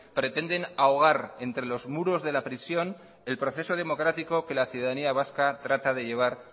pretenden ahogar entre los muros de la prisión el proceso democrático que la ciudadanía vaca trata de llevar